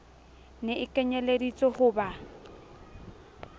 ne e kenyelleditswe ho ba